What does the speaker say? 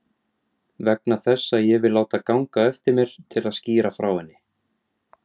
Vegna þess að ég vil láta ganga á eftir mér til að skýra frá henni.